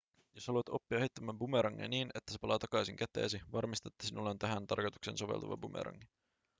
jos haluat oppia heittämään bumerangia niin että se palaa takaisin käteesi varmista että sinulla on tähän tarkoitukseen soveltuva bumerangi